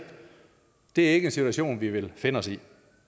det er ikke en situation vi vil finde os i